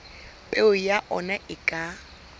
peo ya ona e ka